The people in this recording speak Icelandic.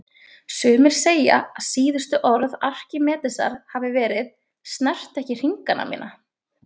Sumir segja að síðustu orð Arkímedesar hafi verið: Snertu ekki hringana mína